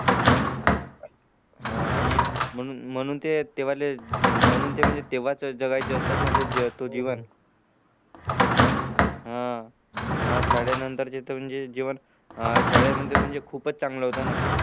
हा आणि म्हणूनते ते वाले ते तेव्हाच असतात ना ते तो जीवन हा अन आज शाळे नंतरचे जीवन शाळे मध्ये खूपच चांगलं होत ना